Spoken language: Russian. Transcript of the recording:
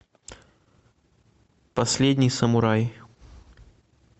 последний самурай